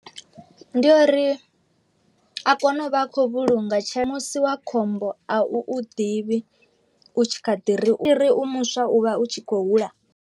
Ndi ya uri a kone u vha a khou vhulunga tshe musi wa khombo a u u ḓivhi u tshi kha ḓi ri uri u muswa u vha u tshi khou hula.